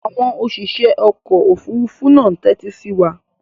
Àwọn òṣìṣẹ́ ọkọ̀-òfurufú náà ń tẹ́tí sí wa.